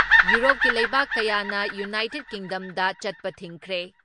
ꯌꯨꯔꯣꯞꯀꯤ ꯂꯩꯕꯥꯛ ꯀꯌꯥꯅ ꯌꯨꯅꯥꯏꯇꯦꯠ ꯀꯤꯡꯗꯝꯗ ꯆꯠꯄ ꯊꯤꯡꯈ꯭ꯔꯦ ꯫